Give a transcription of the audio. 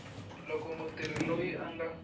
loko mutirhi loyi a nga